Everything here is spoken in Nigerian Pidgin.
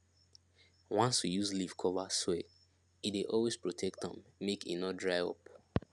once we use leaf cover soil e dey always protect am make e no dry up